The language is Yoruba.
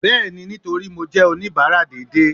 bẹẹni, nitorí mo jẹ onibara dééde